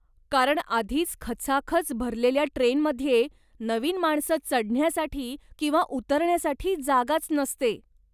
कारण आधीच खचाखच भरलेल्या ट्रेनमध्ये, नवीन माणसं चढण्यासाठी किंवा उतरण्यासाठी जागाच नसते.